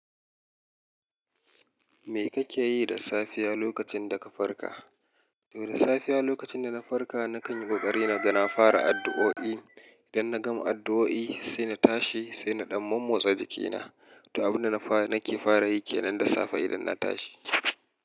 Me kake yi da safiya lokacin da ka farka? To da safiya lokacin da na farka, na kan yi ƙoƙari na gan na fara addu'o'i. Idan na gama addu'o'i, sai na tashi, sai na ɗan mommotsa jikina. To, abin da nake fara yi ke nan da safe idan na tashi.